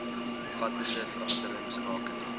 omvattende veranderings rakende